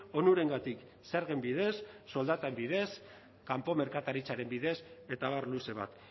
onurengatik zergen bidez soldaten bidez kanpo merkataritzaren bidez eta abar luze bat